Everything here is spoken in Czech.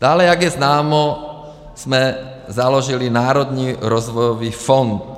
Dále, jak je známo, jsme založili Národní rozvojový fond.